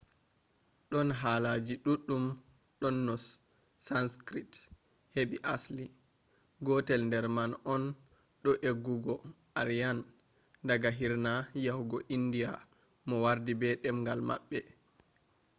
don haalaji duddum do no sanskrit hebi asli. gotel der man on do eggugo aryan daga hirna yahugo india mo wardi be demgal mabbe